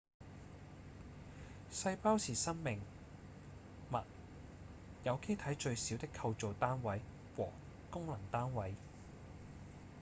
細胞是生命物有機體最小的構造單位和功能單位